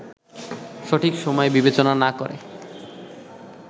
সঠিক সময় বিবেচনা না করে